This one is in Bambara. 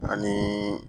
Ani